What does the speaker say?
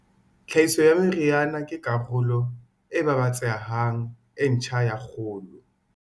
Tlhahiso ya meriana ke karolo e babatsehang e ntjha ya kgolo.